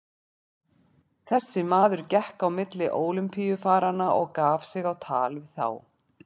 Maður þessi gekk á milli Ólympíufaranna og gaf sig á tal við þá.